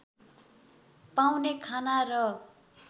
पाउने खाना र